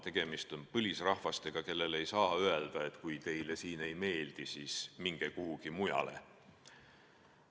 Tegemist on põlisrahvastega, kellele ei saa öelda, et kui teile siin ei meeldi, siis minge kuhugi mujale.